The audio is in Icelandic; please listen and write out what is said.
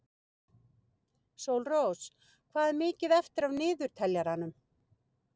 Sólrós, hvað er mikið eftir af niðurteljaranum?